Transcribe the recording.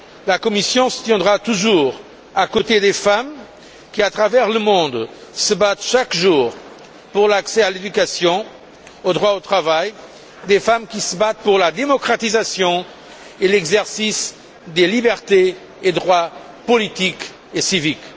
La Commission se tiendra toujours à côté des femmes qui, à travers le monde, se battent chaque jour pour l'accès à l'éducation et au droit au travail, à côté de celles qui se battent pour la démocratisation et l'exercice des libertés et droits politiques et civiques.